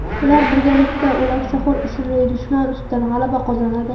Ular birgalikda O‘laksaxo‘r ismli dushman ustidan g‘alaba qozonadi.